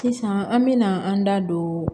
Sisan an mɛna an da don